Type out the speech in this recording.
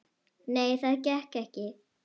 Nei, það gekk ekki.